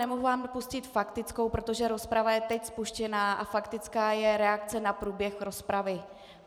Nemohu vám pustit faktickou, protože rozprava je teď spuštěná a faktická je reakce na průběh rozpravy.